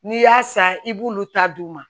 N'i y'a san i b'olu ta d'u ma